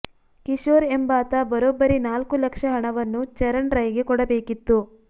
ಕಿಶೋರ್ ಎಂಬಾತ ಬರೋಬ್ಬರಿ ನಾಲ್ಕು ಲಕ್ಷ ಹಣವನ್ನು ಚರಣ್ ರೈಗೆ ಕೊಡಬೇಕಿತ್ತು